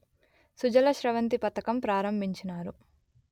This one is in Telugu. సుజల స్రవంతి పథకం ప్రారంభించినారు